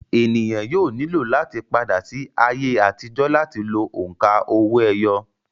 ènìyàn yóò ní láti padà sí ayé àtijọ́ láti lo òǹkà owó-ẹyọ